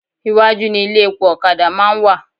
Iwájú ni ilé epo ọ̀kadà máa ń wà